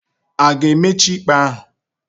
A ga-emechi ikpe ahu?